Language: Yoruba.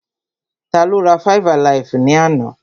Tá ló rá five-alaifu ni àna?